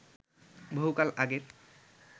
বহু কাল আগের